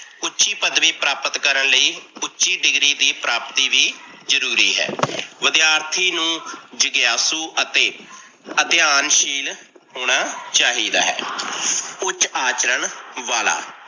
ਉੱਚੀ ਪਦਵੀ ਪ੍ਰਾਪਤ ਕਰਨ ਲਈ ਉੱਚੀ degree ਦੀ ਪ੍ਰਾਪਤੀ ਵੀ ਜਰੂਰੀ ਹੈ। ਵਿਦਿਆਰਥੀ ਨੂੰ ਜਿਗਆਸੂ ਅਤੇ ਅਧਿਆਨਸ਼ੀਲ ਹੋਣਾ ਚਾਹੀਦਾ ਹੈ। ਉੱਚ ਆਚਰਨ ਵਾਲਾ